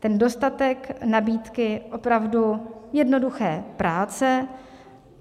Ten dostatek nabídky opravdu jednoduché práce.